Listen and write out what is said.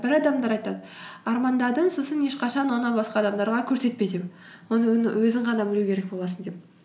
бір адамдар айтады армандадың сосын ешқашан оны басқа адамдарға көрсетпе деп оны өзің ғана білу керек боласың деп